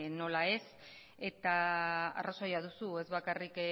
nola ez eta arrazoia duzu ez bakarrik